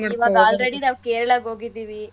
ಈವಾಗ already ನಾವು ಕೇರಳಗ್ ಹೋಗಿದಿವಿ.